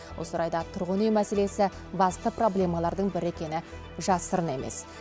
осы орайда тұрғын үй мәселесі басты проблемалардың бірі екені жасырын емес